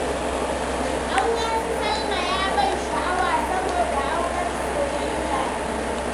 Auren su salma ya ban sha'awa, saboda auren soyayya ne.